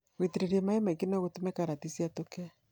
Gũitĩrĩria maĩ maingĩ nogũtũme karati ciatũke.